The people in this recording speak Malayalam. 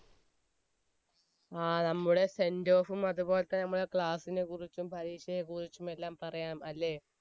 ആ നമ്മുടെ send off ഉം അത് പോൽതന്നെ നമ്മുടെ class നെ കുറിച്ച് ഉം പരീക്ഷയെ കുറിച്ചും എല്ലാം പറയാം അല്ലെ